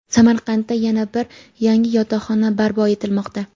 Samarqandda yana bir yangi yotoqxona barpo etilmoqda.